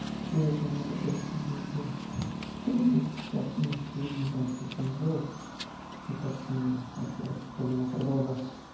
интересно у меня такой же пиздец был да и есть сейчас в принципе я не знаю что с ним делать и как с ним вообще что-либо продолжать